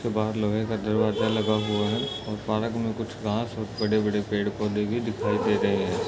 जिसके बाहर लोहे का दरवाजा दिखता है और पार्क में कुछ घास और बड़े पेड़ दिखाई दे रहे हैं।